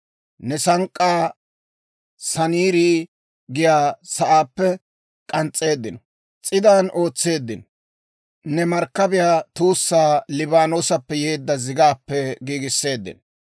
Ne sank'k'aa Saniira giyaa sa'aappe k'ans's'eedda s'iidan ootseeddino; ne markkabiyaa tuussaa Liibaanoosappe yeedda zigaappe giigisseeddino.